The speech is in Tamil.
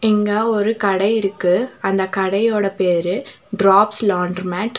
இங்க ஒரு கடை இருக்கு அந்த கடையோட பேரு டிராப்ஸ் லாண்ர்மேட் .